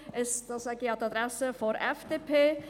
Ich sage das an die Adresse der FDP.